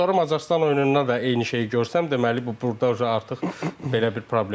Sonra Macarıstan oyununda da eyni şeyi görsəm, deməli bu burda artıq belə bir problem var.